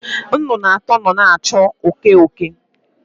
Nnụnụ atọ nọ na-achụ oke oke.